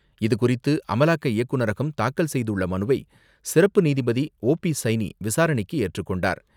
இதுகுறித்து அமலாக்க இயக்குனரகம் தாக்கல் செய்துள்ள மனுவை சிறப்பு நீதிபதி ஓ பி சைனி விசாரணைக்கு ஏற்றுக் கொண்டார்.